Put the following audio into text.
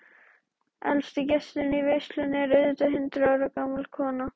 Elsti gesturinn í veislunni er auðvitað hundrað ára gamla konan.